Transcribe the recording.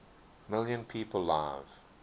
million people live